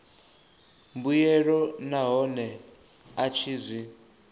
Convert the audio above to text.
mbuelo nahone a tshi zwi